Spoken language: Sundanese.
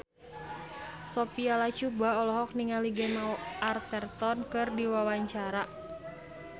Sophia Latjuba olohok ningali Gemma Arterton keur diwawancara